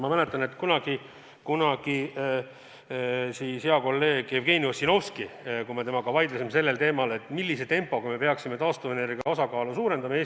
Ma mäletan, et kunagi me vaidlesime hea kolleegi Jevgeni Ossinovskiga teemal, millise tempoga me peaksime taastuvenergia osakaalu Eestis suurendama.